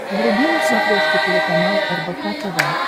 вруби на смотрешке телеканал рбк тв